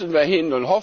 Da müssen wir hin.